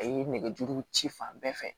A ye nɛgɛjuru ci fan bɛɛ fɛ